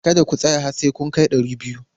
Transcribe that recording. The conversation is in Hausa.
Kada ku tsaya har sai kun kai dari biyu!